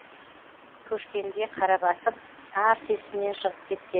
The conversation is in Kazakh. көшкенде қара басып тарс есімнен шығып кеткен